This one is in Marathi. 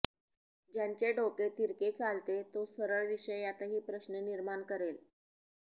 ज्याचे डोके तिरके चालते तो सरळ विषयातही प्रश्न निर्माण करेल